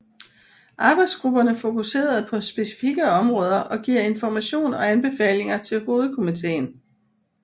Arbejdsgrupperne fokuserede på specifikke områder og giver information og anbefalinger til hovedkomitéen